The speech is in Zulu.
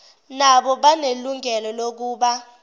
nabo banelungelo lokuba